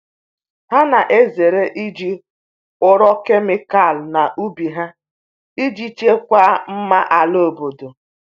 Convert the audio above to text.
Ha na-ezere iji ụrọ kemịkal n’ubi ha iji chekwaa mma ala obodo.